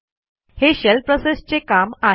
हे शेल प्रोसेसचे काम आहे